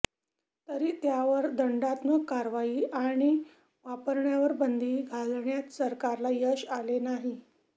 तरी त्यावर दंडात्मक कारवाई किंवा वापरण्यावर बंदी घालण्यात सरकारला यश आले नाही